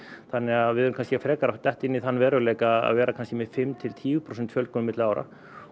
þannig að við erum frekar að detta inn í þann veruleika að vera með fimm til tíu prósent fjölgun milli ára